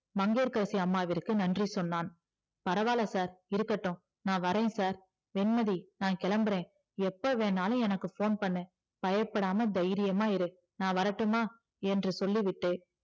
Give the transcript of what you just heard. மங்கையகரசி அம்மாவிற்கு நன்றி சொன்னால் பரவால sir இருக்கட்டும் நா வரே sir வெண்மதி நா கிளம்புறே எப்ப வேணாலும் எனக்கு phone பண்ணு பயப்படாம தைரியமா இரு நா வரட்டுமா என்று சொல்லிவிட்டு